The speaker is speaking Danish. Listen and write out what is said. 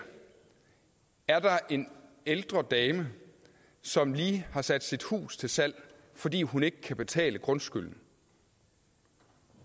er der en ældre dame som lige har sat sit hus til salg fordi hun ikke kan betale grundskylden